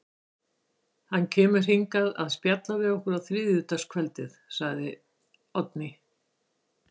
Hann kemur hingað að spjalla við okkur þriðja kvöldið, segir Oddný.